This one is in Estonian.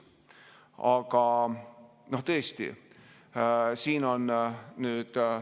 Aga tõesti, siin on nüüd ...